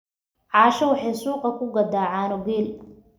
caaisha waxay suuqa ku gadaa caano geel